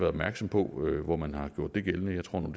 opmærksom på hvor man har gjort det gældende jeg tror nu